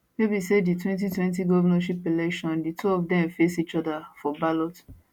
wey be say by di 2020 govnorship election di two of dem face each oda for ballot